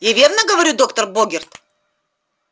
я верно говорю доктор богерт